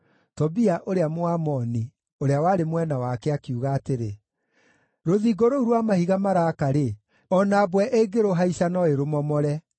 Tobia ũrĩa Mũamoni, ũrĩa warĩ mwena wake, akiuga atĩrĩ, “Rũthingo rũu rwa mahiga maraaka-rĩ, o na mbwe ĩngĩrũhaica no ĩrũmomore!”